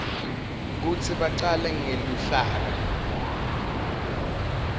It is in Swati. kutsi bacale ngeluhlaka